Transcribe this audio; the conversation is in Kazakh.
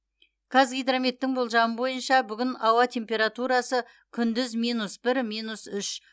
қазгидрометтің болжамы бойынша бүгін ауа температурасы күндіз минус бір минус үш